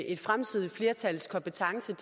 et fremtidigt flertals kompetencer